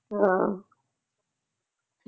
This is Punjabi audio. ਹਾ